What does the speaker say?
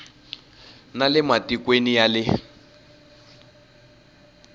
na le matikweni ya le